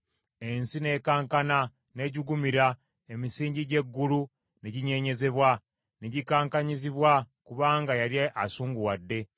“Ensi n’ekankana n’ejjugumira, emisingi gy’eggulu ne ginyeenyezebwa, ne gikankanyizibwa kubanga yali asunguwadde.